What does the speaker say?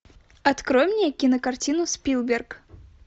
открой мне кинокартину спилберг